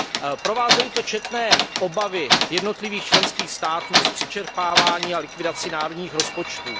Normu provázely četné obavy jednotlivých členských států z přečerpávání a likvidací národních rozpočtů.